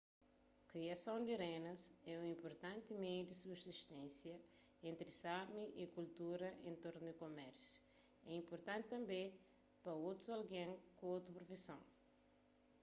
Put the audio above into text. kriason di renas é un inpurtanti meiu di subsisténsia entri sámi y kultura en tornu di kumérsiu é inpurtanti tanbê pa otus algen ku otu profison